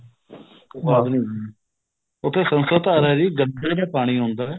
ਉਸਤੋਂ ਬਾਅਦ ਨੀ ਹਮ ਉੱਥੇ ਸੰਸਦ ਧਾਰਾ ਜੀ ਗੱਡੀਆਂ ਚ ਪਾਣੀ ਆਉਂਦਾ